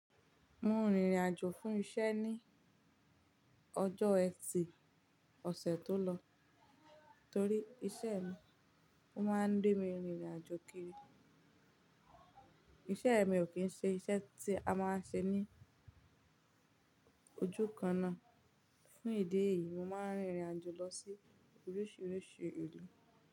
Mo rìn ìrìn àjò fún iṣẹ́ ní ọjọ́ ẹtì ọ̀sẹ̀ tó lọ, torí iṣẹ́ mi óma ń jẹ́ kín ìrìn àjò kiri, iṣẹ́ kò kìn ṣe iṣẹ́ tí a ma ṣe ní ojú kan náà. Fún ìdí èyí, mo máa ń rìnrìn àjò lọ sí oríṣiríṣi ìlú.